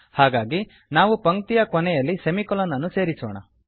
ಹಾಗಾಗಿ ನಾವು ಪಂಕ್ತಿಯ ಕೊನೆಯಲ್ಲಿ ಸೆಮಿಕೊಲೊನ್ ಅನ್ನು ಸೇರಿಸೋಣ